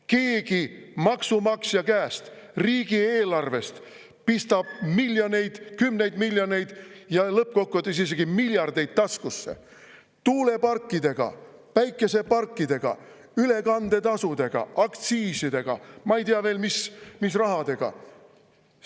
Keegi maksumaksja käest, riigieelarvest pistab miljoneid, kümneid miljoneid ja lõppkokkuvõttes isegi miljardeid taskusse tuuleparkidega, päikeseparkidega, ülekandetasudega, aktsiisidega – ma ei tea, mis rahadega veel.